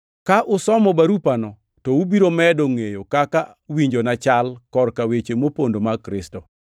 Ka usomo barupano to ubiro medo ngʼeyo kaka winjona chal korka weche mopondo mag Kristo.